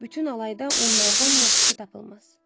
Bütün alayda onlardan yaxşısı tapılmaz.